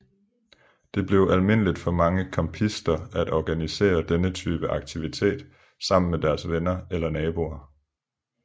Det er almindeligt for mange campister at organisere denne type aktivitet sammen med deres venner eller naboer